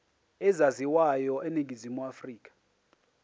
ezaziwayo eningizimu afrika